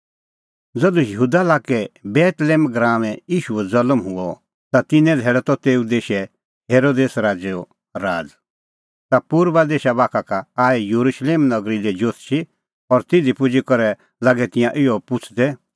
ज़धू यहूदा लाक्कै बेतलेहम गराऊंऐं ईशूओ ज़ल्म हुअ ता तिन्नां धैल़ै त तेऊ देशै हेरोदेस राज़ैओ राज़ ता पुर्बा देशा बाखा का आऐ येरुशलेम नगरी लै जोतषी और तिधी पुजी करै लागै तिंयां इहअ पुछ़दै